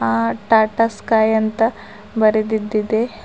ಆ ಟಾಟಾ ಸ್ಕೈ ಅಂತ ಬರೆದಿದ್ದ ಇದೆ.